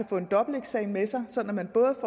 få en dobbelteksamen med sig så man både